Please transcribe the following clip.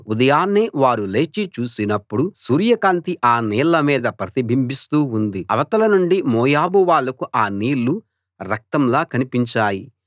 ఉదయాన్నే వారు లేచి చూసినప్పుడు సూర్య కాంతి ఆ నీళ్ల మీద ప్రతిబింబిస్తూ ఉంది అవతల నుండి మోయాబు వాళ్ళకు ఆ నీళ్లు రక్తంలా కనిపించాయి